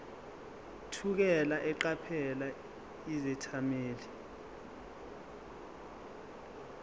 thukela eqaphela izethameli